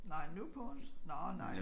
Nej nu på onsdag? Nårh nej